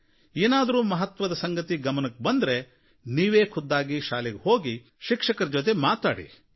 ಅದರಿಂದ ಏನಾದರೂ ಮಹತ್ವದ ವಿಚಾರ ಗೊತ್ತಾದ್ರೆ ನೀವೇ ಖುದ್ದಾಗಿ ಶಾಲೆಗೆ ಹೋಗಿ ಶಿಕ್ಷಕರ ಜೊತೆ ಮಾತಾಡಿ